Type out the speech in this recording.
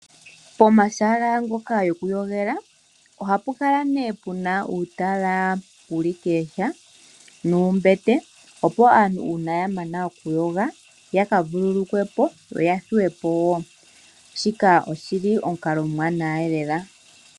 Pomahala ngoka gokuyogela oha pu kala pu na uutala wuli kooha nuumbete opo aantu ngele ya mana okuyoga yakavululukwe po yo ya thuwe po woo. Shika oshi li omukalo omuwanawa elela.